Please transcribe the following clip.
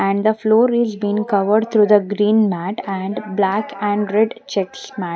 And the floor is been covered through the green mat and black and red checks mat--